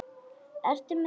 Ertu með þessi gögn?